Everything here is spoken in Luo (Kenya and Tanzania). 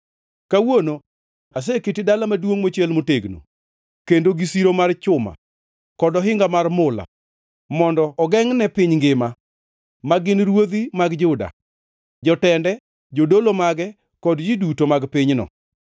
Kawuono aseketi dala maduongʼ mochiel motegno, kendo gi siro mar chuma kod ohinga mar mula mondo ogengʼne piny ngima, ma gin ruodhi mag Juda, jotende, jodolo mage kod ji duto mag pinyno.